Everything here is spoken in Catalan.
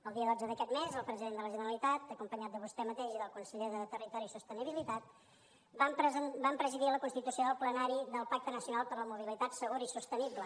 el dia dotze d’aquest mes el president de la generalitat acompanyat de vostè mateix i del conseller de territori i sostenibilitat va presidir la constitució del plenari del pacte nacional per la mobilitat segura i sostenible